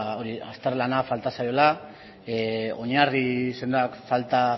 azterlana falta zaiola oinarri sendoak falta